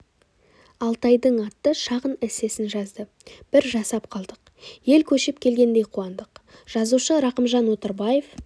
алтайдың атты шағын эссесін жазды бір жасап қалдық ел көшіп келгендей қуандық жазушы рақымжан отарбаев